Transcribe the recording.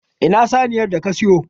Ina saniyar da ka siyo?